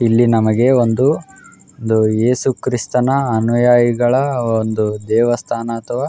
ಇಲ್ಲಿ ನಮಗೆ ಒಂದು ಯೇಸು ಕ್ರಿಸ್ತನ ಅನುಯಾಯಿಗಳ ಒಂದು ದೇವಸ್ಥಾನ ಅಥವಾ --